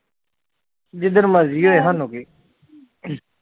ਜਿਦਨ ਮਰਜੀ ਹੋਏ ਸਾਨੂ ਕੀ